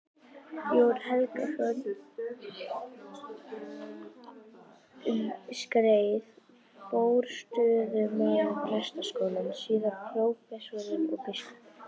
Jón Helgason, um skeið forstöðumaður Prestaskólans, síðar prófessor og biskup.